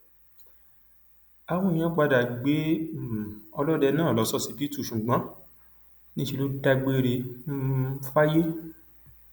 àwọn èèyàn padà gbé um ọlọdẹ náà lọ ṣọsibítù ṣùgbọn níṣẹ ló dágbére um fáyé